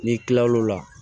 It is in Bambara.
N'i kilal'o la